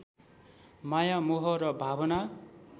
माया मोह र भावना